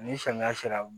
Ni samiya sera